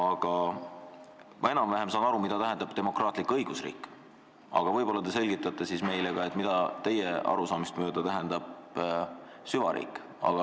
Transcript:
Ma saan enam-vähem aru, mida tähendab demokraatlik õigusriik, aga võib-olla te selgitate meile, mida teie arusaamist mööda tähendab süvariik.